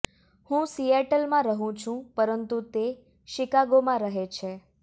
હું સિએટલમાં રહું છું પરંતુ તે શિકાગોમાં રહે છે